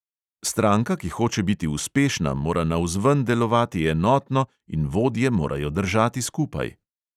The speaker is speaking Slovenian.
Stranka, ki hoče biti uspešna, mora navzven delovati enotno in vodje morajo držati skupaj.